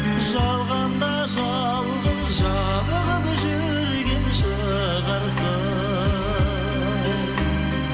жалғанда жалғыз жабығып жүрген шығарсың